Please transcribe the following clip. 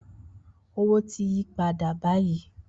Owo ti yi pada bayi